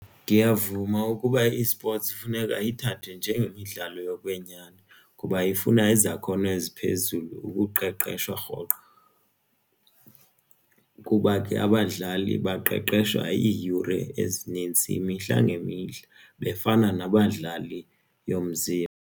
Ndiyavuma ukuba i-esports kufuneka ithathwe njengemidlalo yokwenyani kuba ifuna izakhono eziphezulu ukuqeqeshwa rhoqo, kuba ke abadlali baqeqeshwa iiyure ezinintsi imihla ngemihla bebefana nabadlali yomzimba.